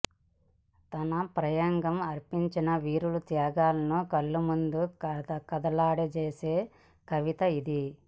తణ ప్రాయంగా అర్పించిన వీరుల త్యాగాలను కళ్ళ ముందు కాడలాడింపజేసే కవిత ఇది